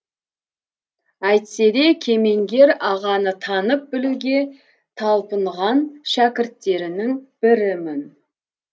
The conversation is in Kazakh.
әйтсе де кемеңгер ағаны танып білуге талпынған шәкірттерінің бірімін